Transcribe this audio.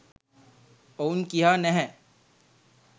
ඔවුන් කියා නැහැ.